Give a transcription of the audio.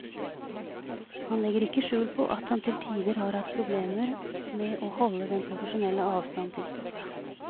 Han legger ikke skjul på at han til tider har hatt problemer med å holde den profesjonelle avstand til stoffet.